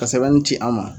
Ka sɛbɛnni ci an ma